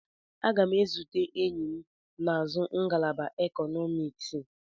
Aga m ezute enyi m na-azụ ngalaba Ekọnọmiks.